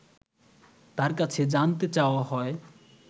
তার কাছে জানতে চাওয়া হয়